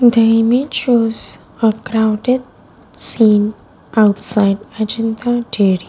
The image shows a crowded scene outside ajanta dairy.